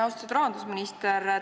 Austatud rahandusminister!